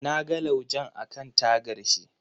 Na ga laujen akan tagar shi.